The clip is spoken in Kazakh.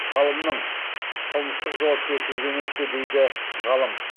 ғалымның қылмыстық жауапкершілігі емес пе дейді ғалым